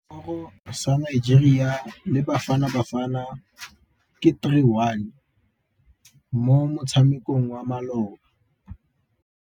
Sekôrô sa Nigeria le Bafanabafana ke 3-1 mo motshamekong wa malôba.